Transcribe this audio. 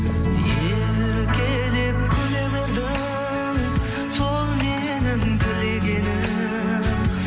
еркелеп күле бердің сол менің тілегенім